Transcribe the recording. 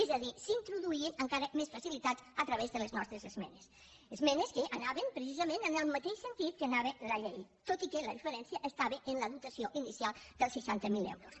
és a dir s’introduïen encara més facilitats a través de les nostres esmenes esmenes que anaven precisament en el mateix sentit en què anava la llei tot i que la diferència estava en la dotació inicial dels seixanta mil euros